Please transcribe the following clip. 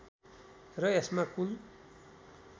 र यसमा कुल